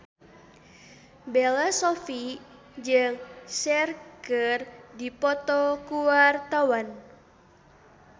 Bella Shofie jeung Cher keur dipoto ku wartawan